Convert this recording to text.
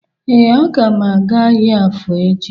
Ee, agam aga ahịa afọ echi